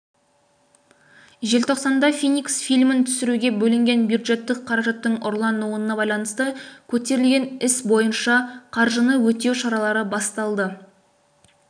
желтоқсанда феникс фильмін түсіруге бөлінген бюджеттік қаражаттың ұрлануына байланысты көтерілген іс бойынша қаржыны өтеу шаралары басталды